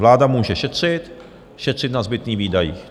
Vláda může šetřit, šetřit na zbytných výdajích.